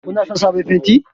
Kuna son sabon fenti?